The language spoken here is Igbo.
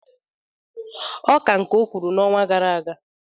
Ọ ka nke ọ kwụrụ n'ọnwa gara aga.